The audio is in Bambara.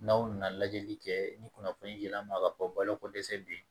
N'aw nana lajɛli kɛ ni kunnafoni yɛlɛ an ma ka fɔ balo ko dɛsɛ be yen